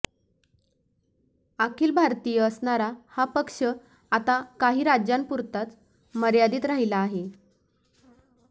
अखिल भारतीय असणारा हा पक्ष आता काही राज्यांपुरताच मर्यादित राहिला आहे